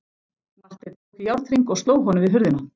Marteinn tók í járnhring og sló honum við hurðina.